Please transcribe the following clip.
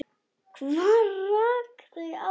Hvað rak þau áfram?